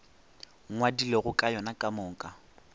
ngwadilego ka yona ka moka